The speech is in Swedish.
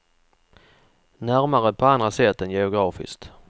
Närmare på andra sätt än geografiskt.